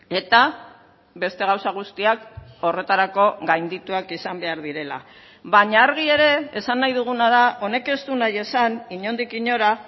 eta beste gauza guztiak horretarako gaindituak izan behar direla baina argi ere esan nahi duguna da honek ez du nahi esan inondik inora